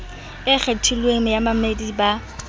e kgethilweng ya bamamedi ba